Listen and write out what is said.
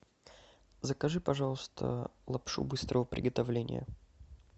закажи пожалуйста лапшу быстрого приготовления